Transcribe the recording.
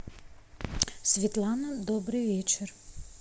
светлана добрый вечер